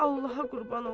Allaha qurban olum.